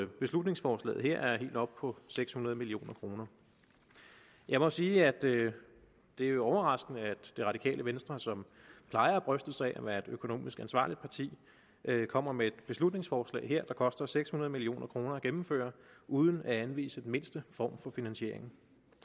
beslutningsforslaget her er helt oppe på seks hundrede million kroner jeg må sige at det er overraskende at det radikale venstre som plejer at bryste sig af at være et økonomisk ansvarligt parti kommer med et beslutningsforslag her der koster seks hundrede million kroner at gennemføre uden at anvise den mindste form for finansiering